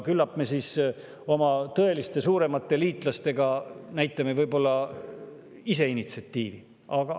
Küllap me siis oma tõeliste suuremate liitlaste puhul näitame ise initsiatiivi üles.